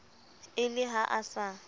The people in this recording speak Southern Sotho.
e le ha a sa